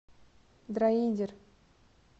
дроидер